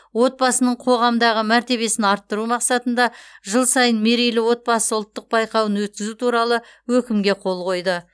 отбасының қоғамдағы мәртебесін арттыру мақсатында жыл сайын мерейлі отбасы ұлттық байқауын өткізу туралы өкімге қол қойды